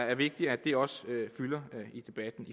er vigtigt at det også fylder i debatten